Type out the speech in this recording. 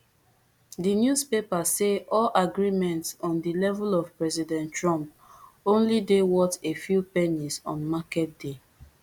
di newspaper say all agreements on di level of president trump only dey worth a few pennies on market day